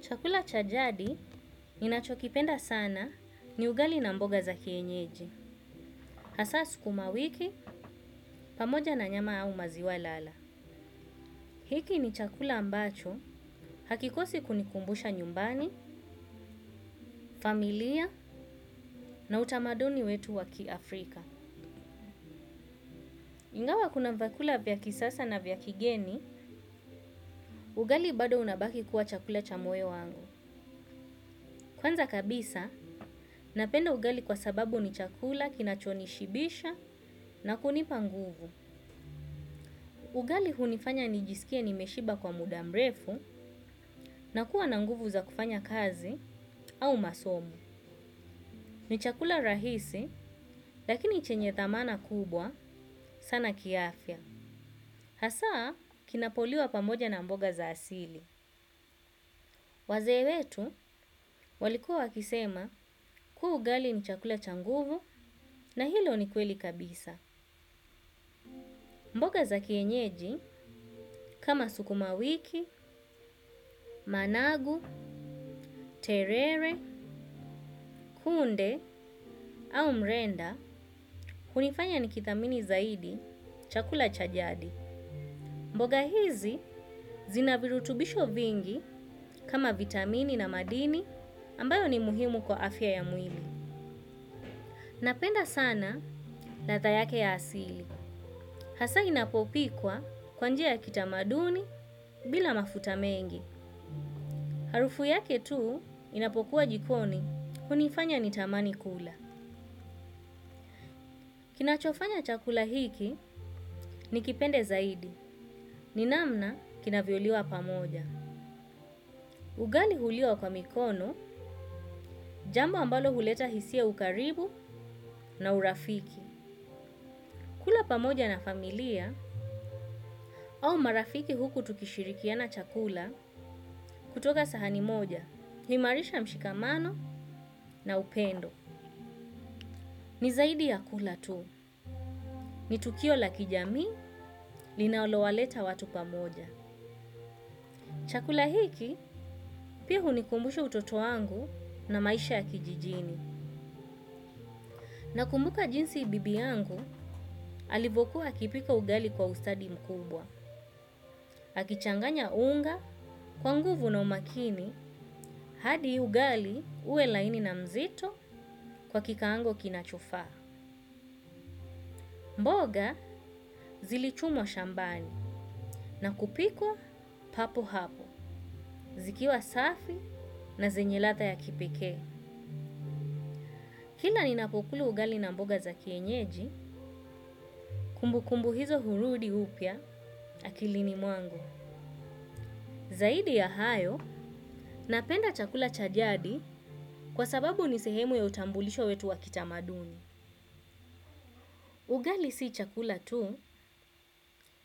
Chakula cha jadi ninachokipenda sana ni ugali na mboga za kienyeji. Hasa sukumawiki, pamoja na nyama au maziwa lala. Hiki ni chakula ambacho hakikosi kunikumbusha nyumbani, familia na utamaduni wetu wa kiAfrika. Ingawa kuna vyakula vya kisasa na vya kigeni, ugali bado unabaki kuwa chakula cha moyo wangu. Kwanza kabisa, napenda ugali kwa sababu ni chakula kinachonishibisha na kunipa nguvu. Ugali hunifanya nijisikie nimeshiba kwa muda mrefu na kuwa na nguvu za kufanya kazi au masomo. Ni chakula rahisi lakini chenye thamana kubwa sana kiafya. Hasa kinapoliwa pamoja na mboga za asili. Wazee wetu walikuwa wakisema kuwa ugali ni chakula cha nguvu na hilo ni kweli kabisa. Mboga za kienyeji kama sukuma wiki, managu, terere, kunde au mrenda hunifanya nikithamini zaidi, chakula cha jadi. Mboga hizi zina virutubisho vingi kama vitamini na madini ambayo ni muhimu kwa afya ya mwili. Napenda sana ladha yake ya asili. Hasa inapopikwa kwa njia ya kitamaduni bila mafuta mengi. Harufu yake tu inapokuwa jikoni, hunifanya nitamani kula. Kinachofanya chakula hiki, nikipende zaidi, ni namna kinavyoliwa pamoja. Ugali huliwa kwa mikono jambo ambalo huleta hisia ya ukaribu na urafiki. Kula pamoja na familia, au marafiki huku tukishirikiana chakula kutoka sahani moja, huimarisha mshikamano na upendo. Ni zaidi ya kula tu. Ni tukio la kijamii linaloleta watu pamoja. Chakula hiki pia hunikumbusha utoto wangu na maisha ya kijijini. Nakumbuka jinsi bibi yangu alivokuwa akipika ugali kwa ustadi mkubwa. Akichanganya unga kwa nguvu na umakini hadi ugali uwe laini na mzito kwa kikaango kinachofaa. Mboga zilichumwa shambani na kupikwa papo hapo. Zikiwa safi na zenye ladha ya kipekee kila ninapokula ugali na mboga za kienyeji, kumbu kumbu hizo hurudi upya, akilini mwangu. Zaidi ya hayo, napenda chakula cha jadi kwa sababu ni sehemu ya utambulisho wetu wa kitamaduni. Ugali si chakula tu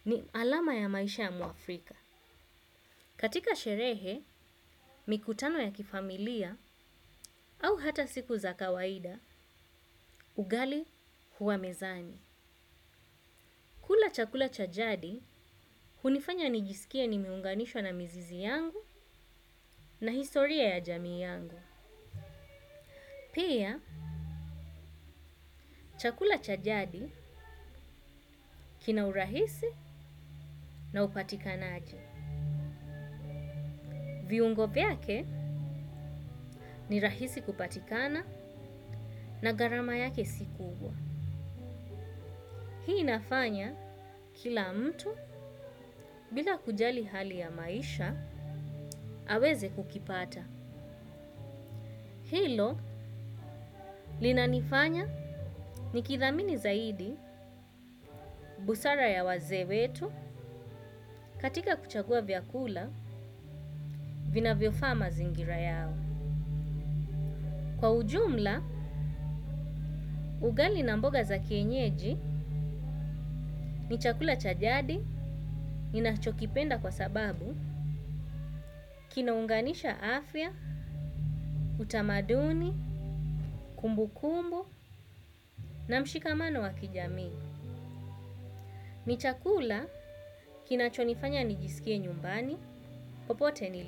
ni alama ya maisha ya mwafrika. Katika sherehe, mikutano ya kifamilia, au hata siku za kawaida, ugali huwa mezani. Kula chakula cha jadi hunifanya nijisikie nimeunganishwa na mzizi yangu na historia ya jamii yangu. Pia chakula cha jadi kina urahisi na hupatikana aje. Viungo vyake ni rahisi kupatikana na gharama yake si kubwa. Hii inafanya kila mtu bila kujali hali ya maisha aweze kukipata. Hilo linanifanya nikithamini zaidi busara ya wazee wetu katika kuchagua vyakula vinavyofaa mazingira yao. Kwa ujumla, ugali na mboga za kienyeji ni chakula cha jadi ninachokipenda kwa sababu kinaunganisha afya, utamaduni, kumbukumbu na mshikamano wa kijamii. Ni chakula kinachonifanya nijisikie nyumbani, popote nili.